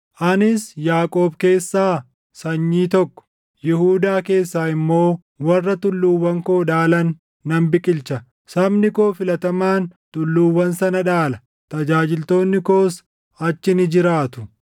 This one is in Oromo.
Anis Yaaqoob keessaa sanyii tokko, Yihuudaa keessaa immoo warra tulluuwwan koo dhaalan nan biqilcha; sabni koo filatamaan tulluuwwan sana dhaala; tajaajiltoonni koos achi ni jiraatu.